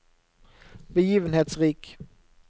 begivenhetsrik